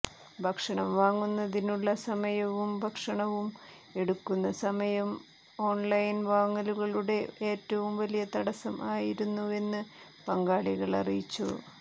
ഭക്ഷണം വാങ്ങുന്നതിനുള്ള സമയവും ഭക്ഷണവും എടുക്കുന്ന സമയം ഓൺലൈൻ വാങ്ങലുകളുടെ ഏറ്റവും വലിയ തടസ്സം ആയിരുന്നുവെന്ന് പങ്കാളികൾ അറിയിച്ചു